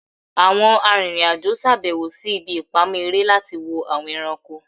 Awọn aririn ajo ṣabẹwo si ibi ipamọ ere lati wo awọn ẹranko